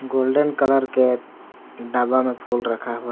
golden colour के डब्बा में फूल रखा हुआ--